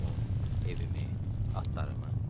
Pulmu, evimi, atlarımı.